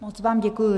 Moc vám děkuji.